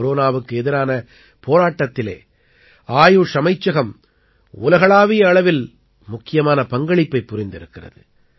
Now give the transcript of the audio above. கொரோனாவுக்கு எதிரான போராட்டத்திலே ஆயுஷ் அமைச்சகம் உலகளாவிய அளவில் முக்கியமான பங்களிப்பைப் புரிந்திருக்கிறது